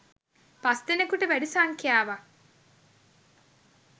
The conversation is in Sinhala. පස්දෙනකුට වැඩි සංඛ්‍යාවක්